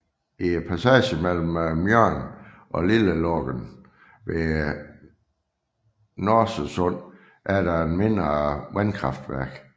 I passagen mellem Mjörn og Lillelången ved Norsesund er der et mindre vandkraftværk